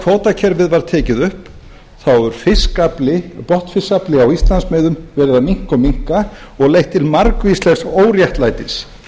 kvótakerfið var tekið upp þá hefur botnfiskafli á íslandsmiðum verið að minnka og minnka og leitt til margvíslegs óréttlætis